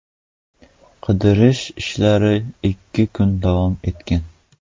Qidirish ishlari ikki kun davom etgan.